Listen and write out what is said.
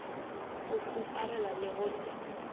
go huparela le go se